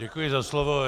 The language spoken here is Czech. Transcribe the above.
Děkuji za slovo.